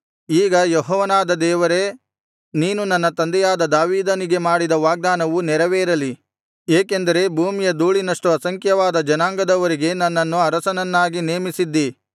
ಈಗ ಯೆಹೋವನಾದ ದೇವರೇ ನೀನು ನನ್ನ ತಂದೆಯಾದ ದಾವೀದನಿಗೆ ಮಾಡಿದ ವಾಗ್ದಾನವು ನೆರವೇರಲಿ ಏಕೆಂದರೆ ಭೂಮಿಯ ಧೂಳಿನಷ್ಟು ಅಸಂಖ್ಯವಾದ ಜನಾಂಗದವರಿಗೆ ನನ್ನನ್ನು ಅರಸನನ್ನಾಗಿ ನೇಮಿಸಿದ್ದೀ